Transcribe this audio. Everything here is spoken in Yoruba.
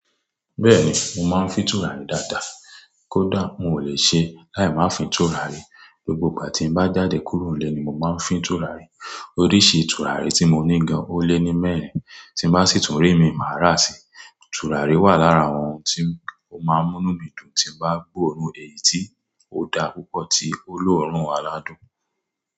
Bẹ́ẹ̀ni, mo máa ń fín tùràrí dáadáa. Kódà n ò lè ṣe láì máa fín tùràrí. Gbogbo ìgbà tí n bá jáde kúrò ńlé ni mo máa ń fín tùràrí. Oríṣi tùràrí tí mo ní gan-an ó lé ní mẹ́rin, tí bá sì tún rí mi, màá rà si. Tùràrí wà lára àwọn ohun tí mo máa ń mú inú mí dùn tí bá gbòòrún èyí tí ó da púpọ̀ tí ó lòórùn aládùn.